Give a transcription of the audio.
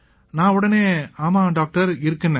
நான் உடனே ஆமாம் டாக்டர் இருக்குன்னேன்